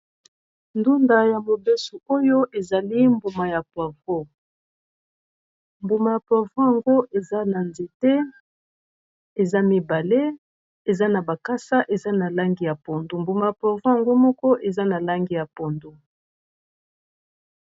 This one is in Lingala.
Ndunda ya mobeso, oyo ezali mbuma ya poivron. Mbuma ya poivron, eza na nzete, eza mibale. Eza na bakasa eza na langi ya pondo. Mbuma ya poivron moko eza na langi ya pondo.